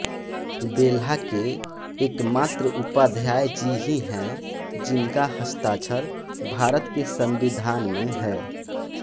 बेल्हा के एक मात्र उपाध्याय जी ही हैं जिनका हस्ताक्षर भारत के संविधान में है